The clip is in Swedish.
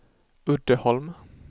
Uddeholm